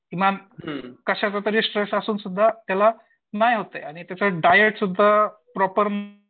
किमान कशाचातरी स्ट्रेस असून सुद्धा त्याला नाही होत डाएट सुद्धा प्रॉपर